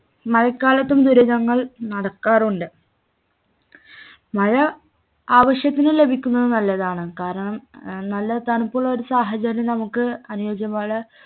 മഴക്കാലത്തും ദുരിതങ്ങൾ നടക്കാറുണ്ട് മഴ ആവശ്യത്തിന് ലഭിക്കുന്നത് നല്ലതാണ് കാരണം ഏർ നല്ല തണുപ്പുള്ളലൊരു സാഹചര്യം നമുക്ക് അനുയോച്യമാണ്